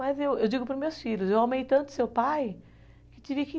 Mas eu digo para os meus filhos, eu amei tanto o seu pai que tive que...